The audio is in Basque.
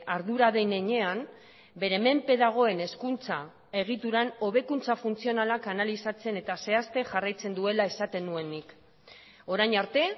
ardura den heinean bere menpe dagoen hezkuntza egituran hobekuntza funtzionalak analizatzen eta zehazten jarraitzen duela esaten nuen nik orain arte